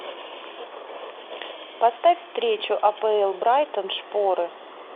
поставь встречу апл брайтон шпоры